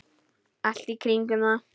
Allt í kringum það.